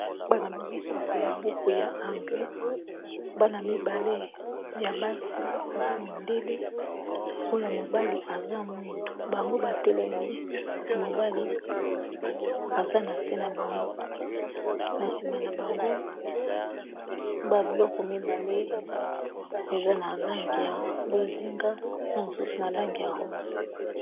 Bana bazosakola buku ya anglais, bana mibale ya basi baza mindele, oyo mobali eza mwindo. Bango batelemi, ya mobali eza na se na bango na nsima na bango babiloko mibale eza na lange ya bozinga, na mosusu na lange ya rose.